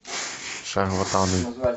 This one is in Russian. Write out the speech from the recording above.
шарлатаны